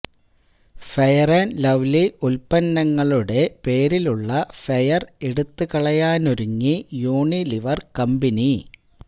fair and lovely ഉത്പന്നങ്ങളുടെ പേരിലുള്ള fair എടുത്തുകളയാനൊരുങ്ങി യൂണിലിവര് കമ്പനി